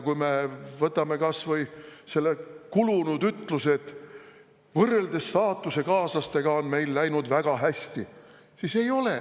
Kui me võtame kas või selle kulunud ütluse, et võrreldes saatusekaaslastega on meil läinud väga hästi, siis ei ole.